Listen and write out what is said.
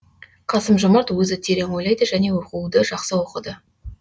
қасым жомарт өзі терең ойлайды және оқуды жақсы оқыды